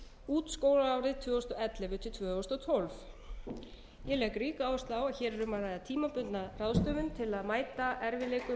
út skólaárið tvö þúsund og ellefu til tvö þúsund og tólf ég legg ríka áherslu á að hér er um að ræða tímabundna ráðstöfum til að mæta erfiðleikum